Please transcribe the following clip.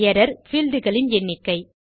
error - fields இன் எண்ணிக்கை